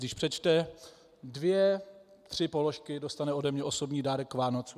Když přečte dvě tři položky, dostane ode mě osobní dárek k Vánocům.